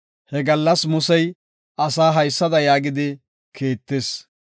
He gallas Musey asaa haysada yaagidi kiittis.